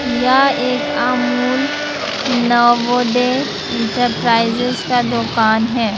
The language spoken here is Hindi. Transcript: या एक अमूल नवोदय इंटरप्राइजेज का दुकान है।